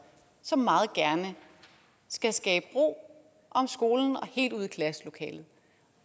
som meget gerne skulle skabe ro om skolen og helt ud i klasselokalet